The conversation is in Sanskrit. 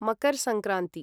मकर् संक्रान्ति